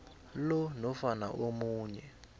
lo nofana omunye